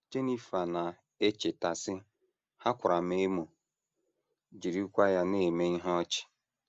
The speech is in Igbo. Jenifer na - echeta, sị: “ Ha kwara m emo, jirikwa ya na - eme ihe ọchị. ”